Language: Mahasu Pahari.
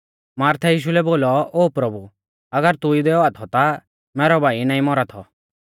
मार्थै यीशु लै बोलौ ओ प्रभु अगर तू इदै औआ थौ ता मैरौ भाई नाईं मौरा थौ